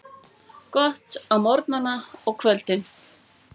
Gott á morgnana og kvöldin.